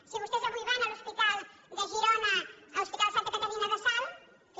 si vostès avui van a l’hospital de girona a l’hos pital de santa caterina de salt en fi